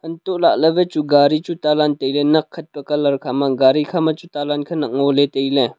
untoh lahley wai chu gari chu talan tailey nak khat colour khama gari khama chu talan khenak ngoley tailey.